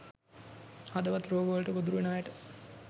හදවත් රෝග වලට ගොදුරු වෙන අයට